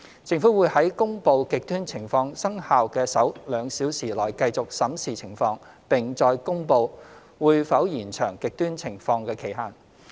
政府會在公布"極端情況"生效的首兩小時內繼續審視情況，並再公布會否延長"極端情況"的期限。